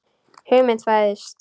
Hugmynd fæðist.